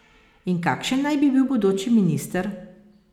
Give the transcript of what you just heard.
In kakšen naj bi bil bodoči minister?